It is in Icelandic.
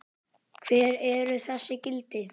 Hver eru þessi gildi?